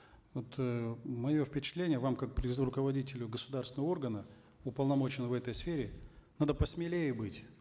вот э мое впечатление вам как руководителю государственного органа уполномоченного в этой сфере надо посмелее быть